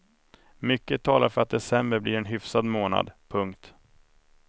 Mycket talar för att december blir en hyfsad månad. punkt